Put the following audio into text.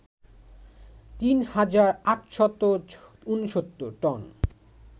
৩ হাজার ৮৬৯ টন